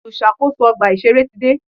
Olùṣàkóso ọgbà ìṣẹ̀rẹ́ ti dé.